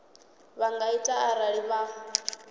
vha nga ita arali vha